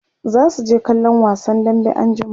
zasu je kallon wasan dambe anjima